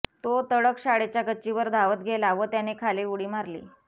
तो तडक शाळेच्या गच्चीवर धावत गेला व त्याने खाली उडी मारली